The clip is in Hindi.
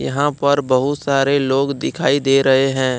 यहां पर बहुत सारे लोग दिखाई दे रहे हैं।